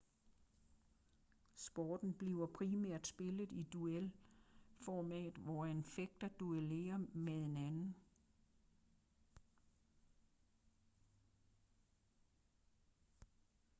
sporten bliver primært spillet i duelformat hvor en fægter duellerer med en anden